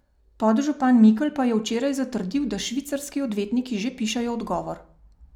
Podžupan Mikl pa je včeraj zatrdil, da švicarski odvetniki že pišejo odgovor.